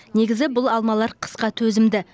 негізі бұл алмалар қысқа төзімді